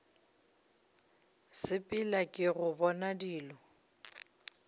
sepela ke go bona dilo